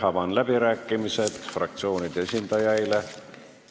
Avan läbirääkimised fraktsioonide esindajaile.